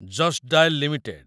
just dial limited